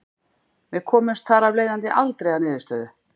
Við komumst þar af leiðandi aldrei að niðurstöðu.